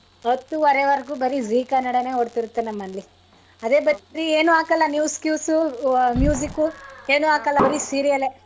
ಹತ್ತು ವರೆವರ್ಗು ಬರಿ zee ಕನ್ನಡಾನೇ ಓಡ್ತಿರುತ್ತೆ ನಮ್ ಮನೇಲಿ. ಅದೇ ಬರಿ ಏನೂ news ಗೀಸು ಏನು ಹಾಕಲ್ಲ ಬರಿ serial ಏ.